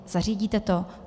Zařídíte to?